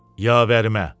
Yavərimə.